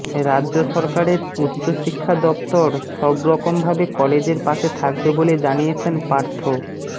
রাজ্য সরকারের উচ্চ শিক্ষা দফতর সবরকমভাবে কলেজের পাশে থাকবে বলে জানিয়েছেন পার্থ